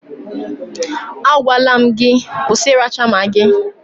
Agwala m gị, kwụsị ịracha magị!